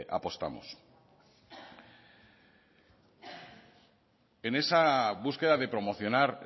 apostamos en esa búsqueda de promocionar